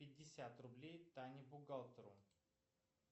пятьдесят рублей тане бухгалтеру